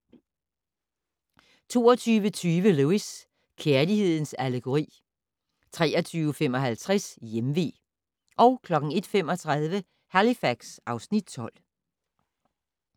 22:20: Lewis: Kærlighedens allegori 23:55: Hjemvé 01:35: Halifax (Afs. 12)